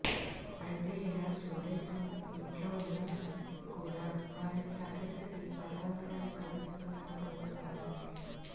అయితే ఇలా స్టూడెంట్స్ ఇంట్లో ఉన్నా కూడా వారికి తరగతి గది వాతావరణాన్ని కల్పిస్తున్నారు కొందరు ఉపాధ్యాయులు